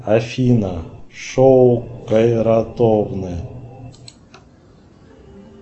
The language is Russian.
афина шоу кайратовны